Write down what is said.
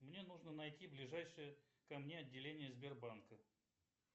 мне нужно найти ближайшее ко мне отделение сбербанка